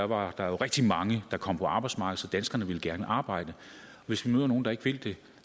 var der jo rigtig mange der kom på arbejdsmarkedet så danskerne vil gerne arbejde hvis vi nu er nogle der ikke vil det